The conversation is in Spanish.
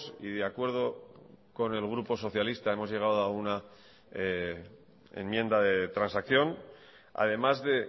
y de acuerdo con el grupo socialista que hemos llegado a una enmienda de transacción además de